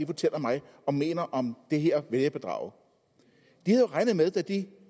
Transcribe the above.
fortæller mig og mener om det her vælgerbedrag